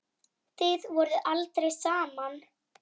Þið voruð aldrei saman.